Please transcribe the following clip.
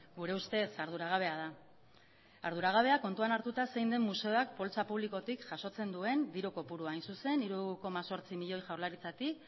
gure ustez arduragabea da arduragabea kontuan hartuta zein den museoak poltsa publikotik jasotzen duen diru kopurua hain zuzen hiru koma zortzi milioi jaurlaritzatik